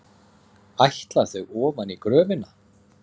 Ætla þau ofan í gröfina?